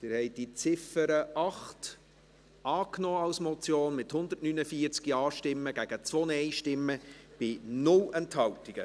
Sie haben die Ziffer 8 als Motion angenommen, mit 149 Ja- gegen 2 Nein-Stimmen bei 0 Enthaltungen.